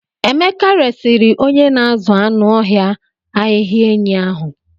Emeka resịrị onye na-azụ anụ ọhịa ahịhịa enyi ahụ.